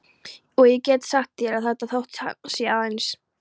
Og ég get sagt þér að þótt hann sé aðeins